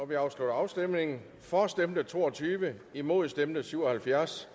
vi afslutter afstemningen for stemte to og tyve imod stemte syv og halvfjerds